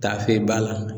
Taafe ba la